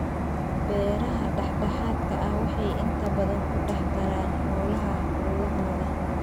Beeraha dhexdhexaadka ah waxay inta badan ku dhex daraan xoolaha hawlahooda.